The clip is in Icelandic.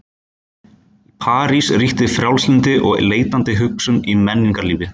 Í París ríkti frjálslyndi og leitandi hugsun í menningarlífi.